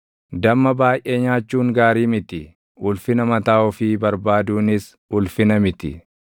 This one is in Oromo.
Damma baayʼee nyaachuun gaarii miti; ulfina mataa ofii barbaaduunis ulfina miti.